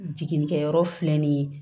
Jiginnikɛyɔrɔ filɛ nin ye